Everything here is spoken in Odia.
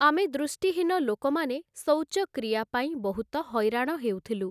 ଆମେ ଦୃଷ୍ଟିହୀନ ଲୋକମାନେ ଶୌଚକ୍ରିୟା ପାଇଁ ବହୁତ ହଇରାଣ ହେଉଥିଲୁ ।